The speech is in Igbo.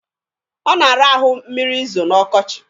Ọ na-ara ahụ mmiri i zo n'ọkọchị.